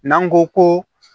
N'an ko ko